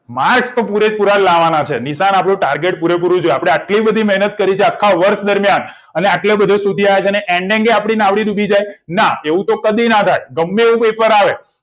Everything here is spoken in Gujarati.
marks તો પુરેપુરા લાવવાના છે નિશાન આપણું target આપડું પૂરેપૂરું જ હોય આપણે આટલી બધી મેહનત કરી છે આખા વર્ષ દરમિયાન અને આટલું બધે સુધી આવ્યા છો and જી આપડી નાવડી ડુબી જાય ના એવું તો કદી ના થાય ગમ્મે તેવું પેપર આવે